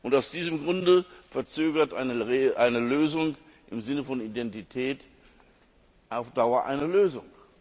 Aus diesem Grunde verzögert eine Lösung im Sinne von Identität auf Dauer eine Lösung.